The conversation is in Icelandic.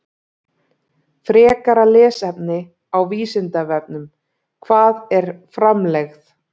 Frekara lesefni á Vísindavefnum: Hvað er framlegð?